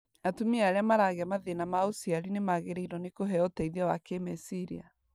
Atumia arĩa maragĩa mathĩna ma ũciari nĩmagĩrĩirwo nĩ kũheo ũteithio wa kĩmeciria